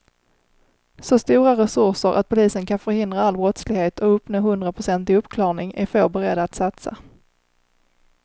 Så stora resurser att polisen kan förhindra all brottslighet och uppnå hundraprocentig uppklarning är få beredda att satsa.